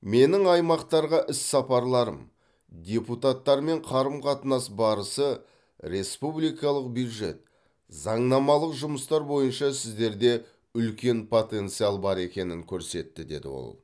менің аймақтарға іс сапарларым депутаттармен қарым қатынас барысы республикалық бюджет заңнамалық жұмыстар бойынша сіздерде үлкен потенциал бар екенін көрсетті деді ол